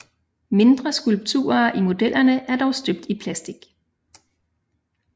Mindre skulpturer i modellerne er dog støbt i plastik